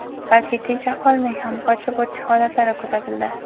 balki tinch aholining ham qochib o‘tish holatlari kuzatildi.